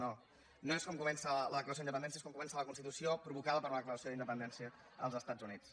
no no és com comença la declaració d’independència és com comença la constitució provocada per la declaració d’independència dels estats units